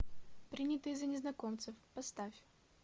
принятые за незнакомцев поставь